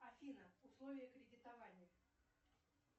афина условия кредитования